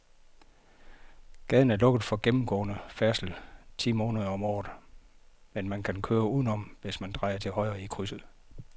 Gaden er lukket for gennemgående færdsel ti måneder om året, men man kan køre udenom, hvis man drejer til højre i krydset.